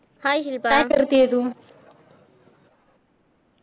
hi Shilpa